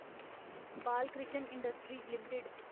Balkrishna industries limited